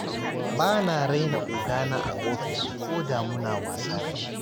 Ba na raina ogana a ofis koda muna wasa da shi.